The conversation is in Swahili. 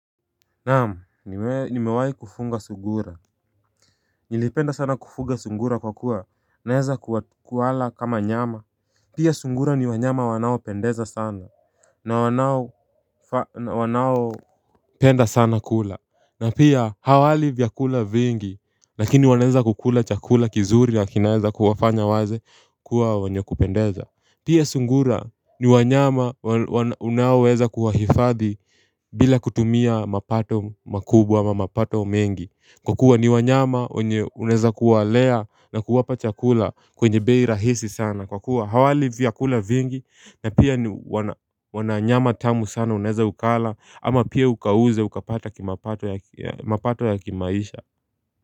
Naam niwe ni mewahi kufunga sungura Nilipenda sana kufunga sungura kwa kuwa naeza ku kuwala kama nyama pia sungura ni wanyama wanao pendeza sana na wanao wanao penda sana kula na pia hawali vyakula vingi lakini wanaweza kukula chakula kizuri wakini naeza kuwafanya waze kuwa wenye kupendeza pia sungura ni wanyama wana wana unaoweza kuwa hifadhi bila kutumia mapato makubwa ama mapato mengi Kwa kuwa ni wanyama wenye unaweza kuwalea na kuwapa chakula kwenye bei rahisi sana Kwa kuwa hawali vyakula vingi na pia ni wana wana nyama tamu sana unaweza ukala ama pia ukauze ukapata kimapato ya mapato ya kimaisha.